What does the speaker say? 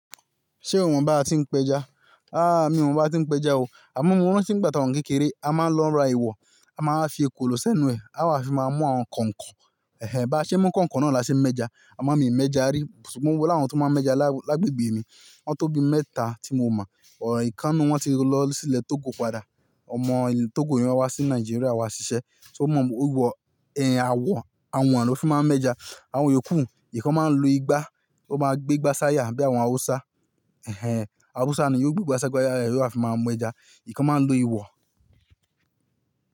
Ṣé o mọ̀ bí a tí ń pẹja? Àh mi ò mọ̀ bí a tí ń pẹja o. Àmo mo rántí ìgbà tí a wa ni kékeré, a máa ń lọ ra ìwọ̀, a máa ń fi ekòló sẹ́nu ẹ, àwa fi máa mú àwọn kọ̀ǹkọ̀. Ẹ̀hẹn, bá ṣe mú kọ̀ǹkọ̀ náà la ṣe ń mẹ́ja, àmọ́ mii mẹ́ja rí. Ṣùgbọ́n mo ni àwọn tó máa ń mẹ́ja lágbègbè mi, wọ́n tó bi mẹ́ta tí mo mọ̀. Ọ̀ràn ìkan nínú wọn ti lọ sílẹ̀ Togo padà. Ọmọ ilé Togo niyẹn, o wá sí Nigeria wá ṣiṣẹ́. So mọ̀ ọ wọ ẹ̀hẹn àwọ̀n àwọn ló fi máa ń mẹ́ja. Àwọn yookù, ìkan máa ń lu igbá, ó máa gbé igbá sáyà bí àwọn Hausa. Ẹ̀hẹn, Hausa ni yóò gbé igbá sáyà, yóò wá fi máa mẹ́ja. Èyí kan máa ń lo ìwọ̀.